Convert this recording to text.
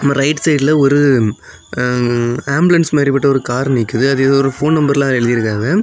Right side ல ஒரு um ambulance மாரிட்டு ஒரு கார் நிக்கிது அது எதொ போன் நம்பர் ல எழுந்திருக்கும்.